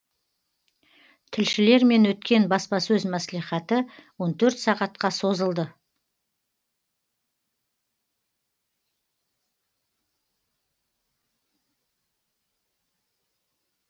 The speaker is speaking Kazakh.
тілшілермен өткен баспасөз маслихаты он төрт сағатқа созылды